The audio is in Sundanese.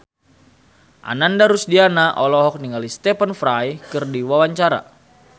Ananda Rusdiana olohok ningali Stephen Fry keur diwawancara